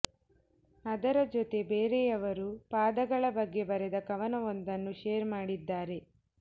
ಅದರ ಜತೆ ಬೇರೆಯವರು ಪಾದಗಳ ಬಗ್ಗೆ ಬರೆದ ಕವನವೊಂದನ್ನು ಶೇರ್ ಮಾಡಿದ್ದಾರೆ